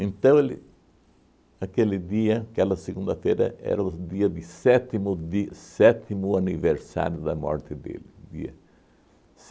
ele, aquele dia, aquela segunda-feira, era o dia de sétimo di sétimo aniversário da morte dele. O dia.